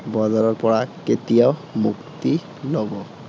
বজাৰৰ পৰা কেতিয়া মুক্তি লব?